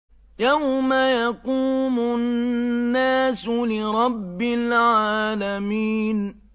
يَوْمَ يَقُومُ النَّاسُ لِرَبِّ الْعَالَمِينَ